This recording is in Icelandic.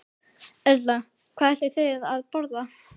Erla: Hvað ætlið þið að borða?